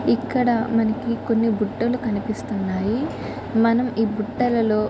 ఇక్కడ మనకి కొన్ని బుట్టలు కనిపిస్తున్నాయి. మనం ఈ బట్టలలో --